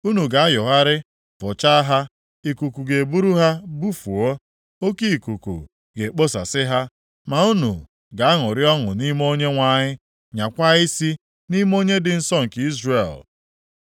Unu ga-ayọgharị, fụchaa ha; ikuku ga-eburu ha bufuo, oke ikuku ga-ekposasị ha. Ma unu ga-aṅụrị ọṅụ nʼime Onyenwe anyị, nyaakwa isi nʼime Onye dị nsọ nke Izrel.